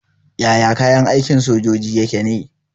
Yaya kayan aikin sojoji yake ne?